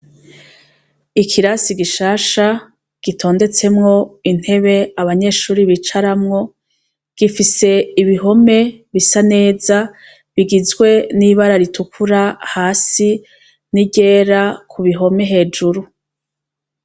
Ikirasi gishasha gitondetsemwo intebe abanyeshuri bicaramwo gifise ibihome bisa neza bigizwe n'ibara ritukura hasi n'iryera ku bihome hejuru.